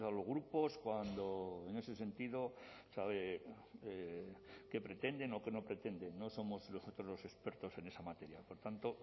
los grupos cuando en ese sentido sabe qué pretenden o qué no pretenden no somos nosotros los expertos en esa materia por tanto